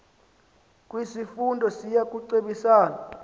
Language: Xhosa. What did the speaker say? kwisifundo siya kucebisana